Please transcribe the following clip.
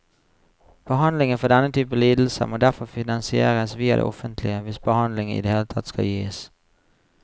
Behandlingen for denne type lidelser må derfor finansieres via det offentlige hvis behandling i det hele tatt skal gis.